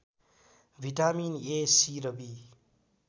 vitamin A C र be